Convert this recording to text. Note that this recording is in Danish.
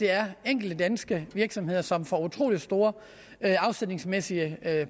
er enkelte danske virksomheder som får utrolig store afsætningsmæssige